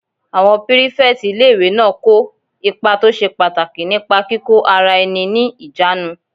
Àwọn pírífẹ̀tì ilé-ìwé náà kó ipa tó ṣe pàtàkì nípa kíkó ara ẹni ní ìjánu